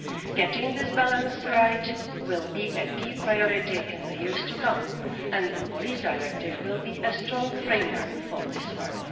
Getting this balance right will be a key priority in the years to come, and the police directive will be a strong framework for this work.